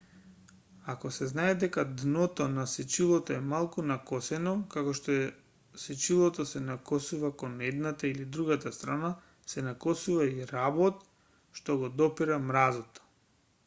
ако се знае дека дното на сечилото е малку накосено како што сечилото се накосува кон едната или другата страна се накосува и работ што го допира мразот